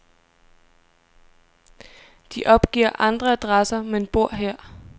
De opgiver andre adresser, men bor her.